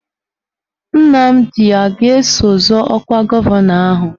Nnamdi a ga-eso zọọ ọkwa gọvanọ ahụ?